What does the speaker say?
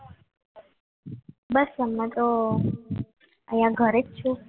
બસ તમે તો અહીંયા ઘરે છું